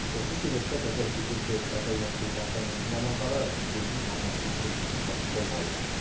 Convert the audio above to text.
осы себепті қазір төтенше жағыдайлар департаменті мамандары өзеннің арнасын бұру жұмыстарын қолға алды